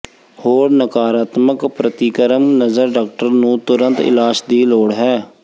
ਹੋਰ ਨਕਾਰਾਤਮਕ ਪ੍ਰਤੀਕਰਮ ਨਜ਼ਰ ਡਾਕਟਰ ਨੂੰ ਤੁਰੰਤ ਇਲਾਜ ਦੀ ਲੋੜ ਹੈ